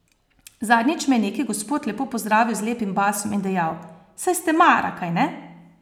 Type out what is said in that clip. Zadnjič me je neki gospod lepo pozdravil z lepim basom in dejal: 'Saj ste Mara, kajne?